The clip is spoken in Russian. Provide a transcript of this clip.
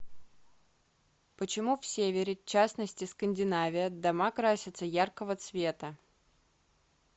почему в севере частности скандинавия дома красятся яркого цвета